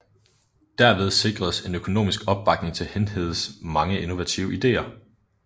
Derved sikredes en økonomisk opbakning til Hindhedes mange innovative ideer